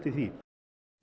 í því